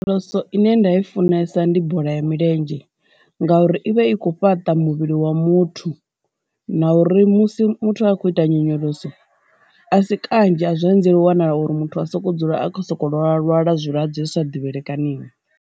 Phoso ine nda i funesa ndi bola ya milenzhe ngauri ivha i kho fhaṱa muvhili wa muthu na uri musi muthu a khou ita nyonyoloso, a si kanzhi a zwi anzeli u wanala uri muthu a soko dzula a kho soko lwa lwala zwi vhulwadze zwisa divhaleikaniho.